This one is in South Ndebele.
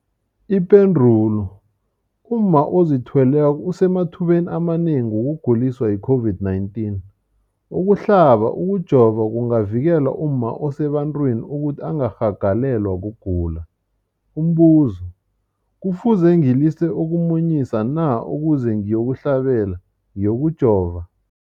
Ipendulo, umma ozithweleko usemathubeni amanengi wokuguliswa yi-COVID-19. Ukuhlaba, ukujova kungavikela umma osebantwini ukuthi angarhagalelwa kugula. Umbuzo, kufuze ngilise ukumunyisa na ukuze ngiyokuhlaba, ngiyokujova?